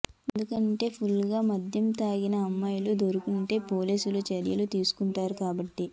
ఎందుకంటే ఫుల్ గా మద్యం తాగిన అమ్మాయి దొరికిందంటే పోలీసులు చర్యలు తీసుకుంటారు కాబట్టి